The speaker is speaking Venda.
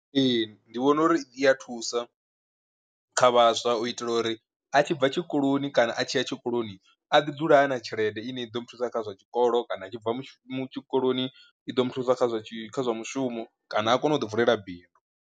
Ee ndi vhona uri i a thusa kha vhaswa u itela uri a tshi bva tshikoloni kana a tshiya tshikoloni a ḓi dzula a na tshelede ine i ḓo muthusa kha zwa tshikolo kana a tshi bva tshikoloni i ḓo muthusa kha zwa kha zwa mushumo, kana a kone u ḓi vulela bindu.